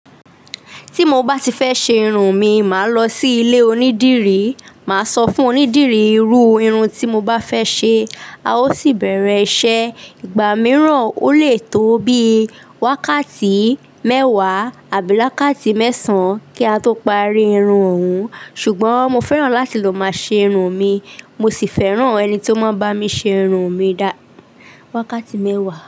Tí mo bá ti fẹ́ ṣe irun mi, màá lọ sí ilé onídìrí, màá sọ fún onídìrí irú irun tí mo bá fẹ́ ṣe, a ó sì bẹ̀rẹ̀ iṣẹ́. Ìgbà mìíràn ó lè tó bí wákàtí mẹ́wàá àbí lákàtí mẹ́sàn-án kí a tó parí irun òun. Ṣùgbọ́n mo fẹ́ràn láti lò máa ṣe irun mi, mo sì fẹ́ràn ẹni tí ó máa ń bá mi ṣe irun mi dá wákàtí mẹ́wàá.